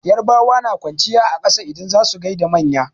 Yarabawa na kwanciya a ƙasa idan za su gaida manya.